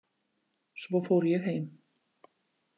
Svo fór ég heim